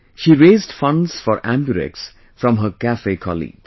She raised funds for AmbuRx from her cafe colleagues